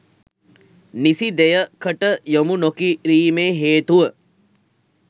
නිසි දෙයකට යොමු නොකිරීමේ හේතුව